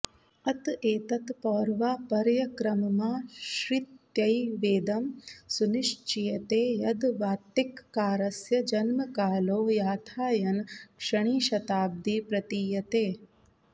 अत एतत् पौर्वापर्यक्रममाश्रित्यैवेदं सुनिश्चीयते यद् वात्तिककारस्य जन्मकालो याथायन षणीशताब्दी प्रतीयते